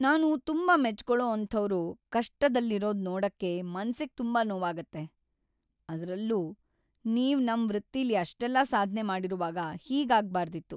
ನಾನ್‌ ತುಂಬಾ ಮೆಚ್ಕೊಳೋ ಅಂಥೋರು ಕಷ್ಟದಲ್ಲಿರೋದ್ ನೋಡಕ್ಕೆ ಮನ್ಸಿಗ್‌ ತುಂಬಾ ನೋವಾಗತ್ತೆ, ಅದ್ರಲ್ಲೂ ನೀವು ನಿಮ್‌ ವೃತ್ತಿಲಿ ಅಷ್ಟೆಲ್ಲ ಸಾಧ್ನೆ ಮಾಡಿರುವಾಗ, ಹೀಗಾಗ್ಬಾರ್ದಿತ್ತು.